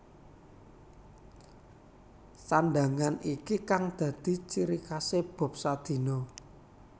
Sandhangan iki kang dadi cirikhasé Bob Sadino